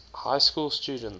high school students